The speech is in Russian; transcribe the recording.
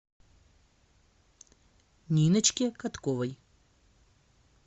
ниночке катковой